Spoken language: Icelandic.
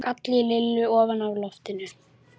gall í Lillu ofan af lofti.